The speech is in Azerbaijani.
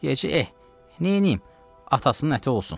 Deyəcək: eh, neyliyim, atasının əti olsun.